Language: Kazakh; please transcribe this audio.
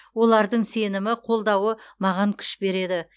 олардың сенімі қолдауы маған күш береді